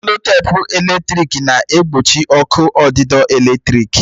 Seloteepu p eletrik na-egbochi ọkụ ọdidọ eletrik.